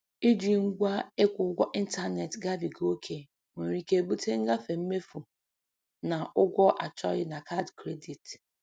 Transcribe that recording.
Iji ngwa ịkwụ ụgwọ ịntaneetị gabiga ókè nwere ike bute ngafe mmefu na ụgwọ achọghị na kaadị kredit.